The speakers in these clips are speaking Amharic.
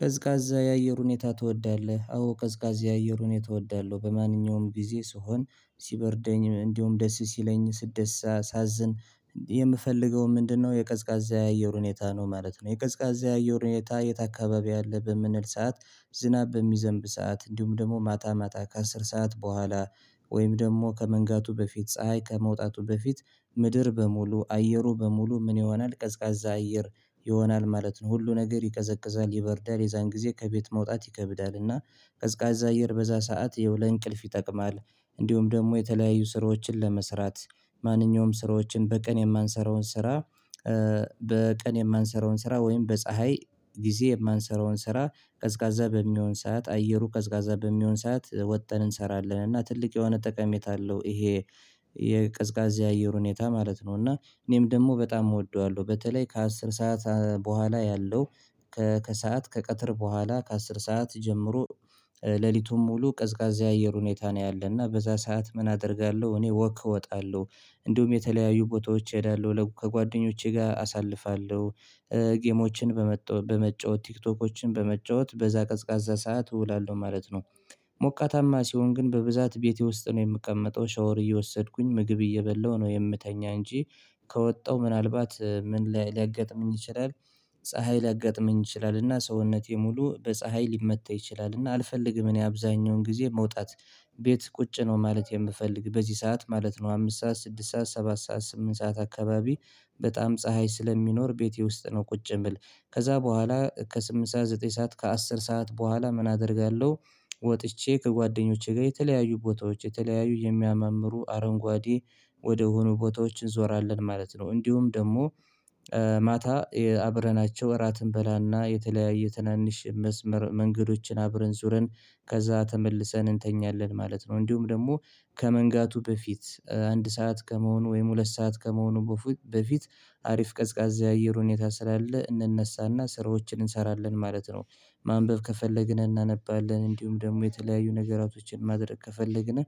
ቀዝቃዛ የአየር ሁኔታ ትወዳለህ? አዎ ቀዝቃዛ የአየር ሁኔታ የተወደው በማንኛውም ጊዜ ስሆን ሲበርደኝ እንዲሁም ደስ ሲለኝ ስትደስት ሳሳዝን የምፈልገው ምንድነው የቀዝቃዛ የአየር ሁኔታ ነው ማለት ነው። የቀዝቃዛ የአየር ሁኔታ የት አካባቢ አለ? በምንል ሰዓት ዝናብ በሚዘንብ ሰዓት እንዲሁም ደግሞ ማጣ ማጣ ከአስር ሰዓት በኋላ ወይም ደግሞ ከመንጋቱ በፊት ፀሀይ ከመውጣቱ በፊት ምድር በሙሉ አየሩ በሙሉ ምን ይሆናል ቀዝቃዛ አየር ይሆናል ማለት ነው። ሁሉ ነገር ይቀዘቅዛል የበርዳር የዛን ጊዜ ከቤት መውጣት ይከብዳልና እና ቀዝቃዛ አየር በዛ ሰዓት የውለ እንቅልፍ ይጠቅማል። እንዲሁም ደግሞ የተለያዩ ስራዎችን ለመስራት ማንኛውም ስራዎችን በቀን የማንሰራውን ስራ። በቀን የማንሰራውን ስራ ወይም በፀሀይ ጊዜ የማንሰራውን ስራ ቀዝቃዛ በሚሆን ሰዓት አየሩ ቀዝቃዛ በሚሆን ሰዓት ወጥን እንሰራለን እና ትልቅ የሆነ ጠቀሜታ አለው። ይሄ የቀዝቃዜ የአየር ሁኔታ ማለት ነው እና እኔም ደግሞ በጣም እወደዋለሁ። በተለይ ከአስር ሰዓት በኋላ ያለው ከሰአት ከቀጥር በኋላ ከአስር ሰዓት ጀምሮ ሌሊቱን ሙሉ ቀዝቃዛ የአየር ሁኔታ ነው። ያለና በዛ ሰዓት ምን አደርጋለሁ እኔ ወክ እወጣለሁ። እንዲሁም የተለያዩ ቦታዎች እሄዳለሁ ከጓደኞቼ ጋር አሳልፋለሁ። ጌሞችን በመጫወት ቲክቶኮችን በመጫወት በዛ ቀዝቃዛ ሰዓት እውላለሁ ማለት ነው። ሞቃታማ ሲሆን ግን በብዛት ቤቴ ውስጥ ነው የምቀመጠው ሻወር እየወሰድኩኝ ምግብ እየበላሁ ነው የምተኛ እንጂ ከወጣው ምናልባት ምን ላገጥምኝ ይችላል? ፀሀይ ላጋጥመኝ ይችላልና ሰውነቴ ሙሉ በፀሀይ ሊመታ ይችላልና አልፈልግም እኔ አብዛኛውን ጊዜ መውጣት። ቤት ቁጭ ነው ማለት የምፈልግ በዚህ ሰዓት ማለት ነው። አምስት ሰዓት ስድስት ሰዓት ሰባት ሰዓት ስምንት ሰዓት አካባቢ በጣም ፀሀይ ስለሚኖር ቤቴ ውስጥ ነው ቁጭ ብል ከዛ በኋላ ከስምንት ሰዓት ዘጠኝ ሰዓት ከአስር ሰዓት በኋላ ምን አደርጋለሁ? ወጥቼ ከጓደኞቼ ጋር የተለያዩ ቦታዎች የተለያዩ የሚያመምሩ አረንጓዴ ወደሆኑ ቦታዎች እንዞራለን ማለት ነው። እንዲሁም ደግሞ ማታ አብረናቸው እራት እንበላና የተለያየ ትናንሽ መስመር መንገዶችን አብረን ዙረን ከዛ ተመልሰን እንተኛለን ማለት ነው። እንዲሁም ደግሞ ከመንጋቱ በፊት አንድ ሰዓት ከመሆኑ ወይም ሁለት ሰዓት ከመሆኑ በፊት አሪፍ ቀዝቃዛ የአየር ሁኔታ ስላለ እንነሳና ስራዎችን እንሰራለን ማለት ነው። ማንበብ ከፈለግን እናነባለን እንዲሁም ደግሞ የተለያዩ ነገራቶችን ማድረግ ከፈለግን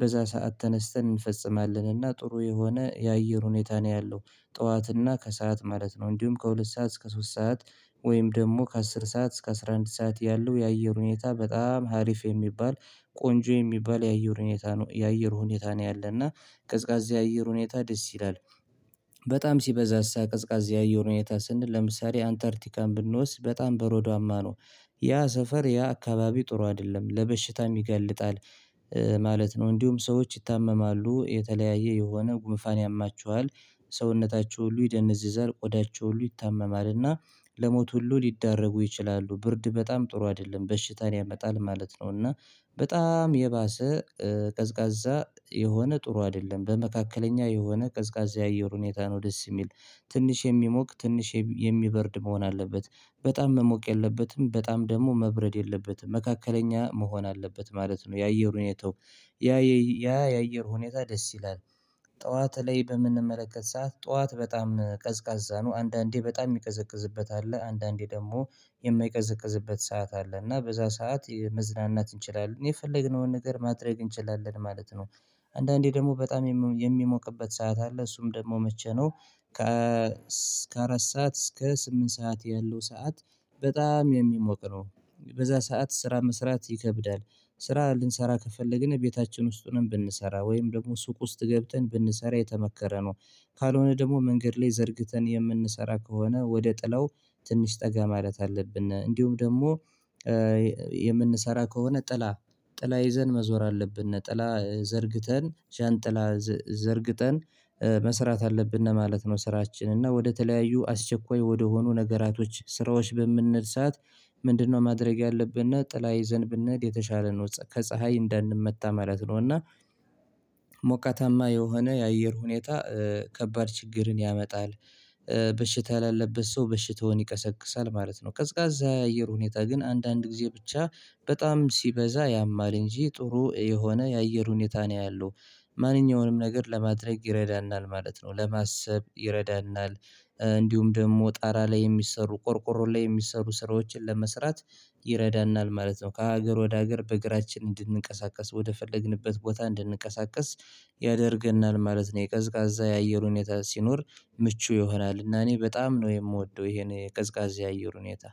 በዛ ሰዓት ተነስተን እንፈጽማለን እና ጥሩ የሆነ የአየር ሁኔታ ነው። ያለው ጠዋት እና ከሰአት ማለት ነው እንዲሁም ከሁለት ሰዓት እስከ ሶስት ሰዓት ወይም ደግሞ ከአስር ሰዓት እስከ አስራ አንድ ሰዓት ያለው የአየር ሁኔታ በጣም ሀሪፍ የሚባል ቆንጆ የሚባል የአየር ሁኔታ የአየር ሁኔታ ነው ያለና ቀዝቃዛ የአየር ሁኔታ ደስ ይላል። በጣም ሲበዛሳ ቅዝቃዜ ያየው ሁኔታ ስንል ለምሳሌ አንተርቲካን ብንወስድ በጣም በረዶማ ነው። ያ ሰፈር ያ አካባቢ ጥሩ አይደለም ለበሽታም ይገልጣል። ማለት ነው እንዲሁም ሰዎች ይታመማሉ የተለያየ የሆነ ጉምፋን ያማችኋል ሰውነታቸው ሁሉ ይደነዝዛል ቆዳቸው ሁሉ ይታመማልና ለሞት ሁሉ ሊደረጉ ይችላሉ ብርድ በጣም ጥሩ አይደለም በሽታን ያመጣል ማለት ነው። እና በጣም የባሰ ቀዝቃዛ የሆነ ጥሩ አይደለም በመካከለኛ የሆነ ቀዝቃዛ የአየር ሁኔታ ነው ደስ የሚል ትንሽ የሚሞቅ ትንሽ የሚበርድ መሆን አለበት በጣም መሞቅ የለበትም በጣም ደግሞ መብረድ የለበትም መካከለኛ መሆን አለበት ማለት ነው። የአየር ሁኔታው ያ የአየር ሁኔታ ደስ ይላል። ጠዋት ላይ በምንመለከት ሰዓት ጠዋት በጣም ቀዝቃዛ ነው አንዳንዴ በጣም የሚቀዘቅዝበት አለ አንዳንዴ ደግሞ የማይቀዘቅዝበት ሰዓት አለ እና በዛ ሰዓት መዝናናት እንችላለን የፈለግነውን ነገር ማድረግ እንችላለን ማለት ነው አንዳንዴ ደግሞ በጣም የሚሞቅበት ሰዓት አለ እሱም ደግሞ መቼ ነው? ከእስከ አራት ሰዓት እስከ ስምንት ሰዓት ያለው ሰዓት በጣም የሚሞቅ ነው። በዛ ሰዓት ስራ መስራት ይከብዳል ስራ ልንሰራ ከፈለግን ቤታችን ውስጥ ነው ብንሰራ ወይም ደግሞ ሱቅ ውስጥ ገብተን ብንሰራ የተመከረ ነው። ካልሆነ ደግሞ መንገድ ላይ ዘርግተን የምንሰራ ከሆነ ወደ ጥላው ትንሽ ጠጋ ማለት አለብን እንዲሁም ደግሞ የምንሰራ ከሆነ ጥላ ጥላ ይዘን መዞር አለብን ነጠላ ዘርግተን ዣንጥላ ዘርግተን መስራት አለብን ነው ማለት ነው። ስራችን እና ወደተለያዩ አስቸኳይ ወደሆኑ ነገራቶች ስራዎች በምንል ሰዓት ምንድነው? ማድረግ ያለብንና ጥላ ይዘን ብንሄድ የተሻለ ነው ከፀሀይ እንዳንመታ ማለት ነው። እና ሞቀታማ የሆነ የአየር ሁኔታ ከባድ ችግርን ያመጣል። በሽታ ያለበት ሰው በሽታውን ይቀሰቅሳል ማለት ነው ቀዝቃዛ የአየር ሁኔታ ግን አንዳንድ ጊዜ ብቻ በጣም ሲበዛ ያማል እንጂ ጥሩ የሆነ የአየር ሁኔታ ነው ያለው ማንኛውንም ነገር ለማድረግ ይረዳናል ማለት ነው። ለማሰብ ይረዳናል እንዲሁም ደግሞ ጣራ ላይ የሚሰሩ ቆርቆሮ ላይ የሚሰሩ ስራዎችን ለመስራት ይረዳናል ማለት ነው። ከሀገር ወደ ሀገር በእግራችን እንድንቀሳቀስ ወደ ፈለግንበት ቦታ እንድንቀሳቀስ ያደርገናል ማለት ነው። የቀዝቃዛ ያየሁኝ ሁኔታ ሲኖር ምቹ ይሆናል እና እኔ በጣም ነው የምወደው ይሄን ቀዝቃዜ አየር ሁኔታ